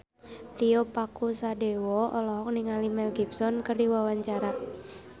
Tio Pakusadewo olohok ningali Mel Gibson keur diwawancara